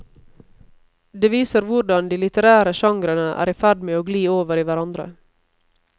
Det viser hvordan de litterære genrene er i ferd med å gli over i hverandre.